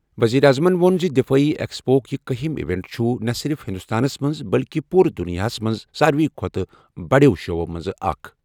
ؤزیٖرِ اعظمن ووٚن زِ دِفٲعی ایکسپوُک یہِ کٔہمِ ہِم ایونٹ چُھ نہٕ صِرِف ہِنٛدُستانس منٛز بٔلکہِ پوٗرٕ دُنیاہس منٛز سارِوٕے کھۄتہٕ بَڑٮ۪و شووَو منٛزٕ اکھ۔